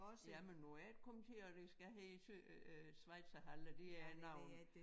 Jamen må jeg ikke kommentere det skal hedde øh Schweizerhalle det er æ navn